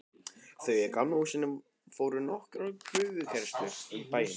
Þau í Gamla húsinu fóru nokkrar prufukeyrslur um bæinn.